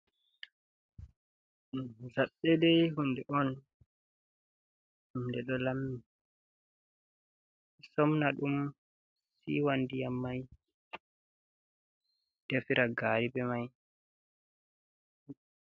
Jaɓɓe dai hunde on, hunde ɗo lammi somna ɗum siwa ndiyam mai defira gari be mai.